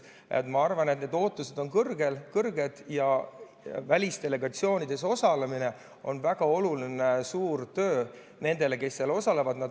Ma arvan, et need ootused on kõrged ja välisdelegatsioonides osalemine on väga oluline ja suur töö nendele, kes seal osalevad.